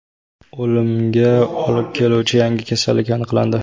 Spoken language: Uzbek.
O‘limga olib keluvchi yangi kasallik aniqlandi.